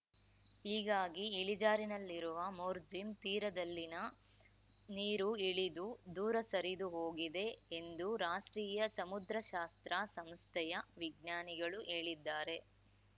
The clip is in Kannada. ಹೀಗಾಗಿ ಇಳಿಜಾರಿನಲ್ಲಿರುವ ಮೋರ್ಜಿಂ ತೀರದಲ್ಲಿನ ನೀರು ಇಳಿದು ದೂರ ಸರಿದು ಹೋಗಿದೆ ಎಂದು ರಾಷ್ಟ್ರೀಯ ಸಮುದ್ರಶಾಸ್ತ್ರ ಸಂಸ್ಥೆಯ ವಿಜ್ಞಾನಿಗಳು ಹೇಳಿದ್ದಾರೆ